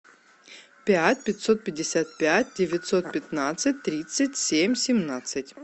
пять пятьсот пятьдесят пять девятьсот пятнадцать тридцать семь семнадцать